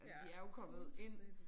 Altså de er jo kommet ind